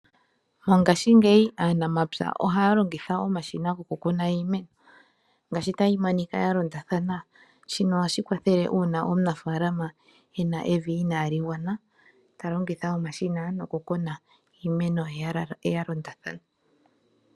Mongaashingeyi aanamapya ohaya longitha omashina gokukuna iimeno, hayi kala yalondathana shika ohashi kwathele uuna omunafaalama ena evi inali gwana talongitha omashina nokukuna iimeno ye yalondathana.